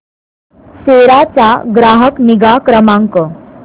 सेरा चा ग्राहक निगा क्रमांक